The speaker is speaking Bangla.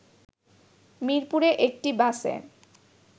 মিরপুরে একটি বাসে